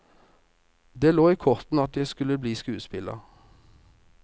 Det lå i kortene at jeg skulle bli skuespiller.